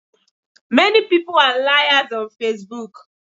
Many people are liars on Facebook.